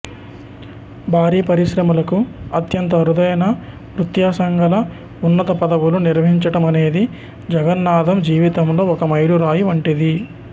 భారీ పరిశ్రమలకు అత్యంత అరుదైన వ్యత్యాసంగల ఉన్నత పదవులు నిర్వహించటమనేది జగన్నాధం జీవితంలో ఒక మైలురాయి వంటిది